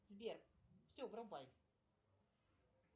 сбер все врубай